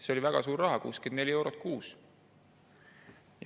See oli väga suur raha – 64 eurot kuus.